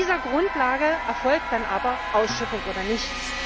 Auf dieser Grundlage erfolgt dann aber eine Ausschiffung oder nicht.